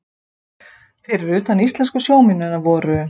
Fyrir utan íslensku sjómennina voru